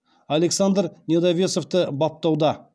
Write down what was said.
александр недовесовті баптауда